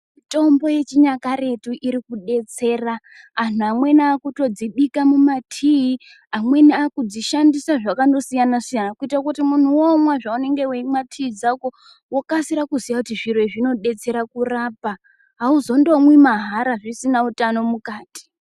Mitombo yechinyakaretu iri kubetsera antu amweni akutodzibika mumatii, amweni audzishandisa zvakandosiyana-siyana. Kuite kuti muntu omwa zvaunenge veimwa tii dzako vokasira kuziya kuti zviro izvi zvinobetsera kurapa hauzondomwi mahara zvisina utano mukati.